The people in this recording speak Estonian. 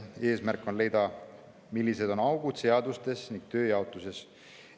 Eesmärk on leida, millised on augud seadustes ning tööjaotuses.